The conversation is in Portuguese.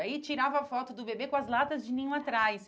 Aí tirava foto do bebê com as latas de ninho atrás.